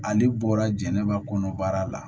Ale bɔra jɛnɛba kɔnɔbara la